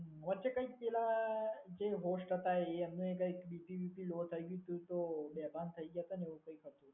વચ્ચે કંઈક પહેલા જે હોસ્ટ હતા, એ એમને કંઈક બીજી રીતે લોટ આવ્યું હતું તો બેભાન થઈ ગયા હતા ને એવું કંઈક હતું.